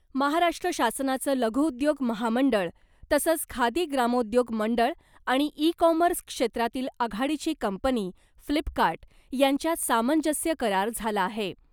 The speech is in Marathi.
महाराष्ट्र शासनाचं लघु उद्योग महामंडळ तसंच खादी ग्रामोद्योग मंडळ आणि ई कॉमर्स क्षेत्रातील आघाडीची कंपनी फ्लिपकार्ट यांच्यात सामंजस्य करार झाला आहे .